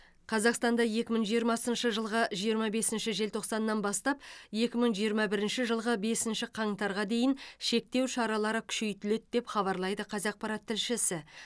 қазақстанда екі мың жиырмасыншы жылғы жиырма бесінші желтоқсаннан бастап екі мың жиырма бірінші жылғы бесінші қаңтарға дейін шектеу шаралары күшейтіледі деп хабарлайды қазақпарат тілшісі